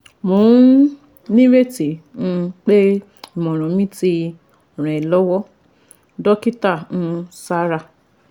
Mo um ní ìrètí um pé ìmọ̀ràn mi ti ràn ẹ́ lọ́wọ́ Dókítà um Sara